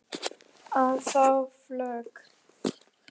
að fá flog